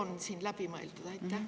Kas see on läbi mõeldud?